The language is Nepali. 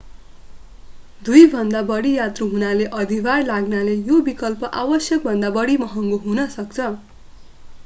2भन्दा बढी यात्रु हुनाले अधिभार लाग्नाले यो विकल्प आवश्यकभन्दा बढी महँगो हुन सक्छ